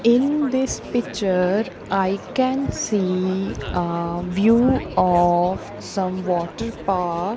in this picture i can see ah view of some water park.